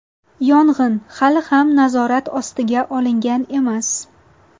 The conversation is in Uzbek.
Yong‘in hali ham nazorat ostiga olingan emas.